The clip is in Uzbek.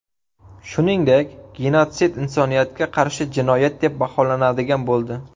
Shuningdek, genotsid insoniyatga qarshi jinoyat deb baholanadigan bo‘ldi.